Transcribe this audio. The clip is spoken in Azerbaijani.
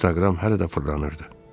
Instagram hələ də fırlanırdı.